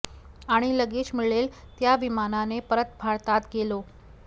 आणि लगेच मिळेल त्या विमानाने परत भारतात गेलो